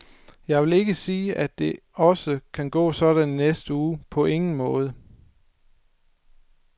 Jeg vil ikke sige, at det også kan gå sådan i næste uge, på ingen måde.